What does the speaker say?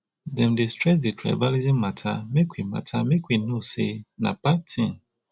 dem dey stress dis tribalism mata make we mata make we know sey na bad tin